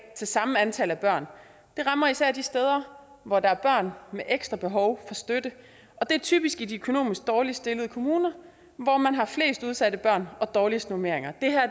til samme antal børn det rammer især de steder hvor der er børn med ekstra behov for støtte og det er typisk i de økonomisk dårligst stillede kommuner hvor man har flest udsatte børn og dårligste normeringer